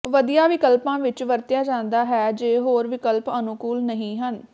ਵਧੀਆ ਵਿਕਲਪਾਂ ਵਿਚ ਵਰਤਿਆ ਜਾਂਦਾ ਹੈ ਜੇ ਹੋਰ ਵਿਕਲਪ ਅਨੁਕੂਲ ਨਹੀਂ ਹਨ